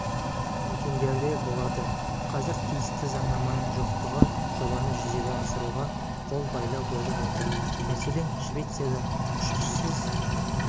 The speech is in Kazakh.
мекендерде болады қазір тиісті заңнаманың жоқтығы жобаны жүзеге асыруға қолбайлау болып отыр мәселен швецияда ұшқышсыз